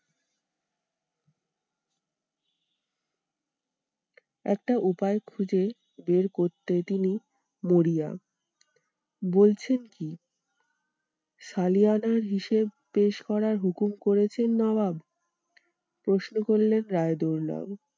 একটা উপায় খুঁজে বের করতে তিনি মরিয়া বলছেন কি? সালিয়ানার হিসেব পেশ করার হুকুম করেছেন নবাব প্রশ্ন করলেন রায়দুল্লাও।